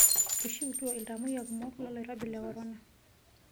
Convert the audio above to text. Eishiutuo iltamoyia kumok lolkirobi le korona.